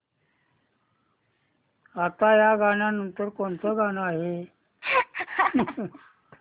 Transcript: आता या नंतर कोणतं गाणं आहे